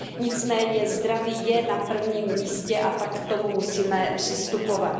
Nicméně zdraví je na prvním místě a tak k tomu musíme přistupovat.